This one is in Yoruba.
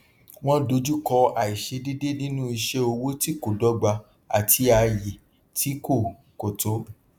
wọn dojú kọ àìṣedéédé nínú iṣẹ owó tí kò dọgba àti àyè tí kò kò tó